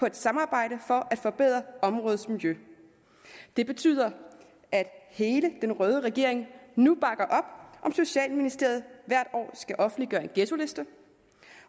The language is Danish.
at samarbejde om at forbedre områdets miljø det betyder at hele den røde regering nu bakker op socialministeriet hvert år skal offentliggøre en ghettoliste